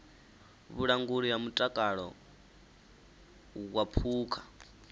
vhulanguli ha mutakalo wa phukha